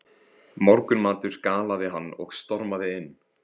Morgunmatur galaði hann og stormaði inn.